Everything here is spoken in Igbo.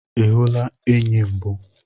Ihula enyi mbụ?